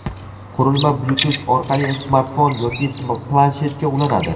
Qurilma Bluetooth orqali smartfon yoki planshetga ulanadi.